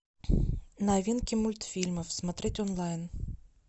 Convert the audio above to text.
новинки мультфильмов смотреть онлайн